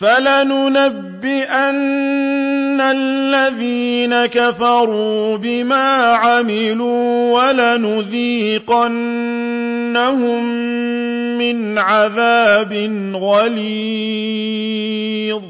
فَلَنُنَبِّئَنَّ الَّذِينَ كَفَرُوا بِمَا عَمِلُوا وَلَنُذِيقَنَّهُم مِّنْ عَذَابٍ غَلِيظٍ